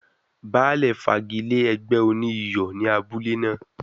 Baálè fagi lé ẹgbẹ́ oní iyọ̀ ni abule náà.